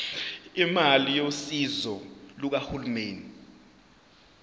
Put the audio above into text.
imali yosizo lukahulumeni